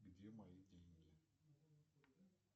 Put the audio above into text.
где мои деньги